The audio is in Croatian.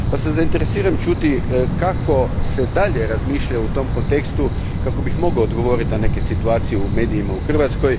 Zainteresiran sam čuti kako se dalje razmišlja u tom kontekstu kako bih mogao odgovoriti na neke situacije u medijima u Hrvatskoj.